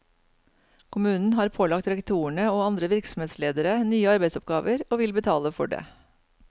Kommunen har pålagt rektorene og andre virksomhetsledere nye arbeidsoppgaver og vil betale for det.